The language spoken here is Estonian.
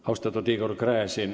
Austatud Igor Gräzin!